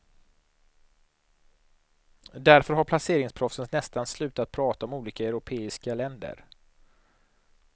Därför har placeringsproffsen nästan slutat prata om olika europeiska länder.